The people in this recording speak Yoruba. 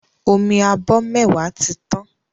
Omi abọ mẹwa tí tàn